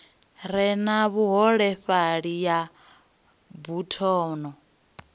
re na vhuholefhali ya buthano